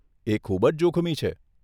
એ ખૂબ જ જોખમી છે.